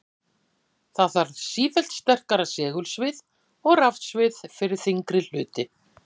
Því þarf sífellt sterkara segulsvið og rafsvið fyrir þyngri hluti.